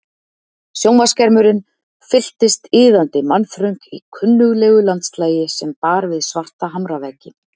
Sjónvarpsskermurinn fylltist iðandi mannþröng í kunnuglegu landslagi sem bar við svarta hamraveggi.